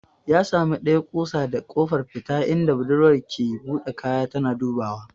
Ya sami ɗaya kusa da kofar fita inda budurwar ke buɗe kaya tana dubawa.